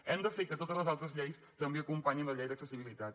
hem de fer que totes les altres lleis també acompanyin la llei d’accessibilitat